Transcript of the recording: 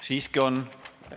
Siiski on.